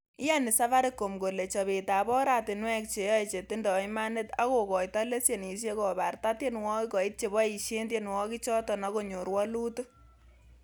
Iyoni safaricom kole chobetab oratinwek cheyoe chetindoi imanit ak kokoitoi lesenisiek kobarta tienwogik koit cheboishen tienwogikchoton ak konyor woluut.